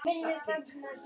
Varstu aldrei hrædd?